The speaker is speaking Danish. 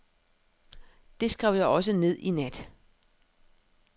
Det skrev jeg også ned i nat.